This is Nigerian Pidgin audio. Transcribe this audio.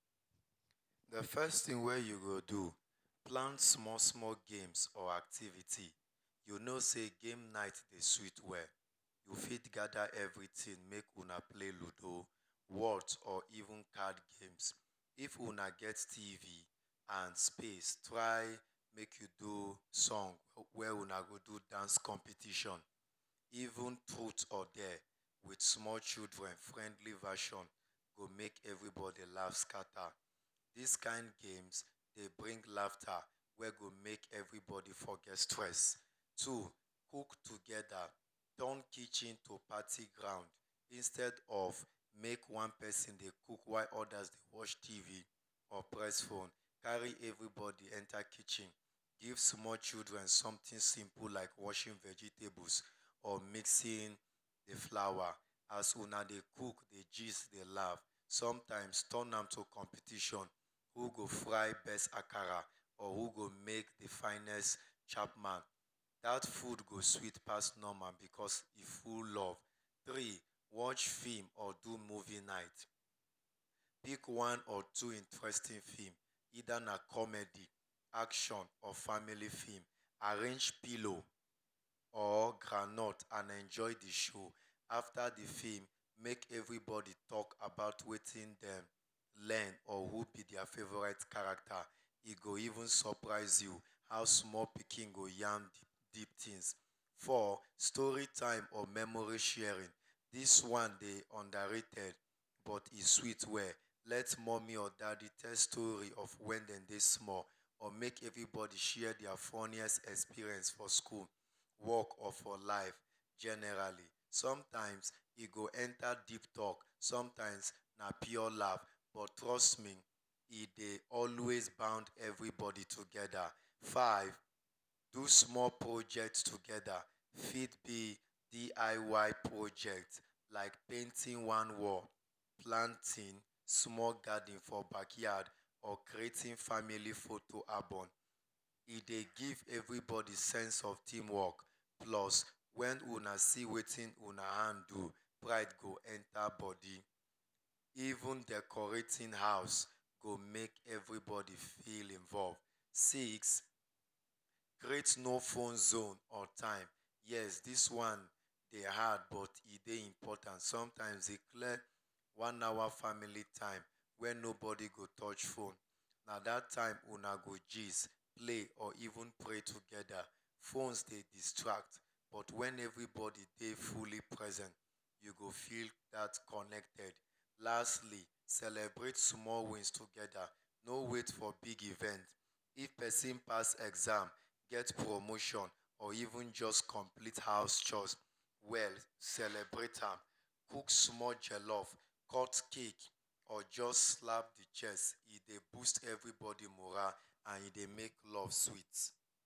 The first thing wey you go do, plan small small games or activity. You no sey game night is sweet well, you fit gather everything make una play ludo, Whott or even card games. If una get TV and space, try make you do song wey una go do dance competition. Even truth or dare with small children friendly version wey go make everybody laugh scatter. These kind games, Dey bring laughter, wey go make everybody forget stress. Two, cook together, turn kitchen to party ground. Instead of make one person dey cook while others dey watch TV or press phone, carry everybody enta kitchen. Give small children something simple like washing vegetables or mixing d flower. As una dey cook, dey jizz, dey laugh, sometimes turn am to competition. Who go fry bes akara, who go make d finest chapman. Dat food go sweet pass normal because e full of love. Three, Watch film or do movie night. Pick one or two interesting film, either na comedy, action, or family film. Four, Arrange pillow or ground nut and enjoy d show. After d film, make everybody talk about wetin hin learn Who be their favorite character? E go even surprise you how small pikin go yarn deep things. Four, Story time or memory sharing. Dis one dey underrated, but e sweet well, Let mommy or daddy tell story of wen dey small, or make everybody share their funniest experience for school, work, or for life Generally, sometimes e go enter deep talk, sometimes pure love. But trust me, e dey always bound everybody together. Five, Do small projects together. Fit be DIY projects, like painting one wall, plantingsmall garden for backyard, or creating family photo album. E dey give everybody sense of teamwork. Plus, when una see wetin una hand do, pride go enter body. Even decorating house go make everybody feel involved. Six, create no phone zone or time. Yes, dis one hard but e important. Sometimes, implement one hour family time wey nobody go touch phone. At dat time, una go gist, play, or even play together. Phones dey distract, but wen everybody dey fully present, you go feel dat connected. Lastly, celebrate small wins together. No wait for big event.even if persin pass exam, get promotion, or even just complete house chores well celebrate am. Cook small jellof, cut cake, or just snap picture, E Dey boost everybody morale and e Dey make love sweet.